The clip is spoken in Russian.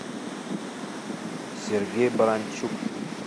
сергей баранчук